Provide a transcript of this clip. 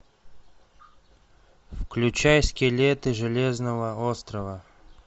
включай скелеты железного острова